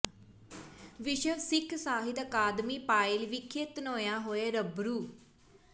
ਵਿਸ਼ਵ ਸਿੱਖ ਸਾਹਿਤ ਅਕਾਦਮੀ ਪਾਇਲ ਵਿਖੇ ਧਨੋਆ ਹੋਏ ਰੂਬਰੂ